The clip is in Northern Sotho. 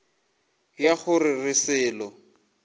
ya go se re selo